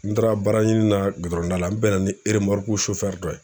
N taara baaraɲini na da la n bɛnna ni eremɔruku dɔ ye